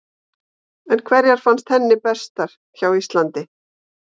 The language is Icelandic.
En hverjar fannst henni bestar hjá Íslandi?